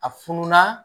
A fununa